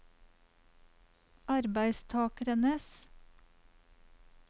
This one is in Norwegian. arbeidstakernes